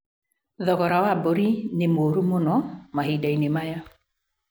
Thogora wa mbũri nĩ mũũru mũno mahinda-inĩ maya